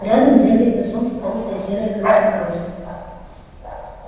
рядом дремлет на солнце толстая серая крыса короста